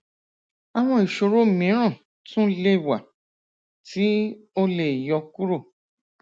awọn ìṣòro mìíràn tún le wá tí o le yọ kúrò